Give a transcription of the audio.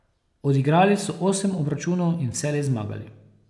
Odigrali so osem obračunov in vselej zmagali.